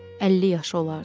50 yaşı olardı.